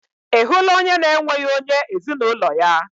Ị hụla onye na-enweghị onye ezinaụlọ ya?